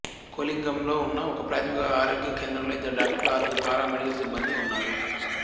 కొలిగాంలో ఉన్న ఒకప్రాథమిక ఆరోగ్య కేంద్రంలో ఇద్దరు డాక్టర్లు ఆరుగురు పారామెడికల్ సిబ్బందీ ఉన్నారు